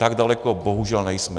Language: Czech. Tak daleko bohužel nejsme.